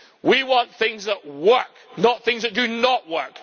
We want things that work, not things that do not work.